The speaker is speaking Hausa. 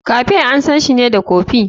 Cafe ansanshi ne da kofi.